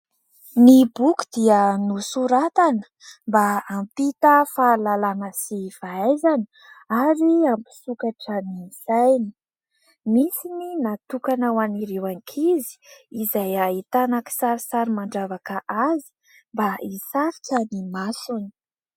Ny boky dia nosoratana mba hampita fahalalàna sy fahaizana ary hampisokatra ny saina. Misy ny natokana ho an'ireo ankizy izay ahitana kisarisary mandravaka azy mba hisarika ny masony.